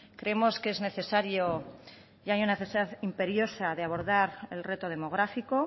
creemos que es necesario y hay una necesidad imperiosa de abordar el reto demográfico